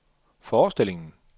forestillingen